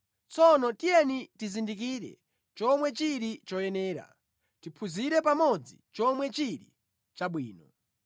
Tsono tiyeni tizindikire chomwe chili choyenera; tiphunzire pamodzi chomwe chili chabwino.